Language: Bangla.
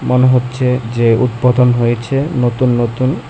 মনে হচ্ছে যে উৎপতন হয়েছে নতুন নতুন।